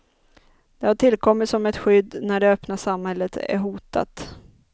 De har tillkommit som ett skydd när det öppna samhället är hotat.